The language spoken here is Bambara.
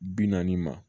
Bi naani ma